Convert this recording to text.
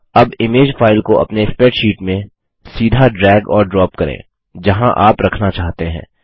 अब image file को अपने स्प्रैडशीट में सीधा ड्रैग और ड्रॉप करें जहाँ आप रखना चाहते हैं